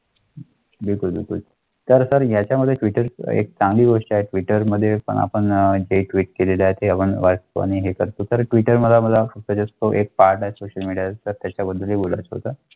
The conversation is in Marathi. तर ह्याच्यामध्ये भेटेल का? मी वर्षा एक मीटर मध्ये पण आपण एक ट्विट केले आहे ते वनवासपणे करतो तर ट्विटर मला पाठ आहे सोशल मिळेल तर त्याच्याबद्दल बोलत होता.